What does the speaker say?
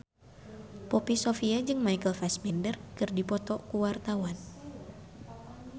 Poppy Sovia jeung Michael Fassbender keur dipoto ku wartawan